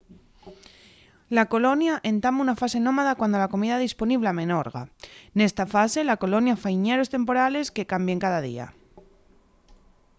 la colonia entama una fase nómada cuando la comida disponible amenorga nesta fase la colonia fai ñeros temporales que cambien cada día